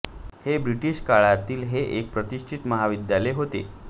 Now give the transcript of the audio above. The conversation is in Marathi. हे ब्रिटिश काळातील हे एक प्रतिष्ठित महाविद्यालय होते